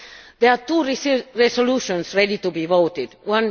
There are two resolutions ready to be voted on.